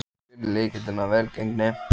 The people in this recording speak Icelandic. Hver er lykilinn að velgengninni?